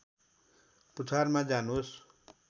पुछारमा जानुहोस्